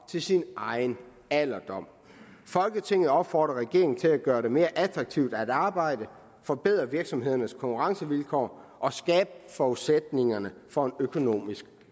til sin egen alderdom folketinget opfordrer regeringen til at gøre det mere attraktivt at arbejde forbedre virksomhedernes konkurrencevilkår og skabe forudsætningerne for økonomisk